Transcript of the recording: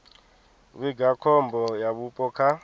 vhiga khombo ya vhupo kha